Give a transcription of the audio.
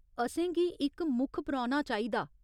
असेंगी इक मुक्ख परौह्‌ना चाहिदा।